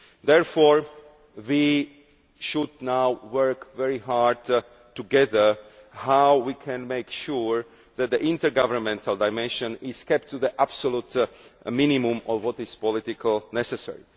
Therefore we should now work very hard together on how we can make sure that the intergovernmental dimension is kept to the absolute minimum of what is politically necessary.